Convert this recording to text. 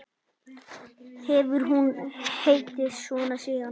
Hefur hún heitið svo síðan.